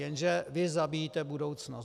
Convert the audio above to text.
Jenže vy zabíjíte budoucnost.